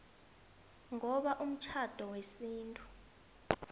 ngoba umtjhado wesintu